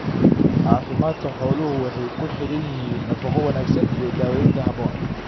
Caafimaadka xooluhu waxay ku xidhan yihiin nafaqo wanaagsan iyo daawaynta habboon.